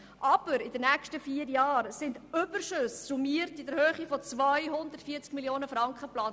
Aber in den nächsten vier Jahren sind Überschüsse in der Höhe von insgesamt 240 Mio. Franken geplant.